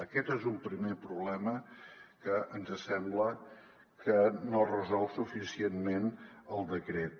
aquest és un primer problema que ens sembla que no resol suficientment el decret